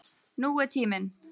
Nú er tíminn.